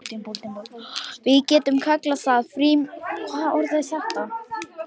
Við getum kallað það frímúrarareglu verkalýðsins, ef þú vilt.